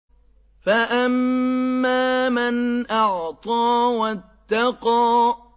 فَأَمَّا مَنْ أَعْطَىٰ وَاتَّقَىٰ